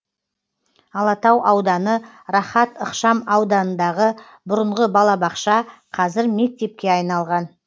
алатау ауданы рахат ықшам ауданындағы бұрынғы балабақша қазір мектепке айналған